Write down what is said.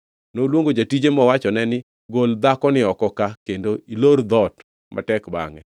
Noluongo jatije mowachone ni, Gol dhakoni oko ka kendo ilor dhoot matek bangʼe.